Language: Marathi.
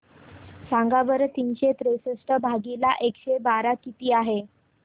सांगा बरं तीनशे त्रेसष्ट भागीला एकशे बारा किती आहे